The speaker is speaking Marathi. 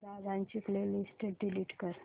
दादा ची प्ले लिस्ट डिलीट कर